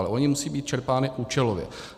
Ale ony musí být čerpány účelově.